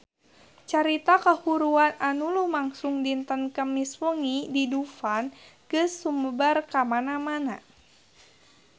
Carita kahuruan anu lumangsung dinten Kemis wengi di Dufan geus sumebar kamana-mana